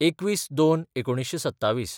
२१/०२/१९२७